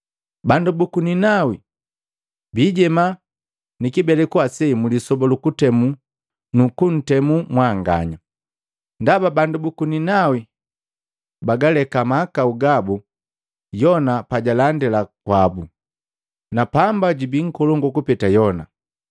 Bandu buku Ninawi biijema ni kibeleku ase mlisoba lu kutemu nukuntemu mwanganya. Ndaba bandu buku Ninawi bagaleka mahakau gabu Yona pajalandila kwabu, na pamba jubii nkolongu kupeta Yona!